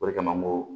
O de kama n ko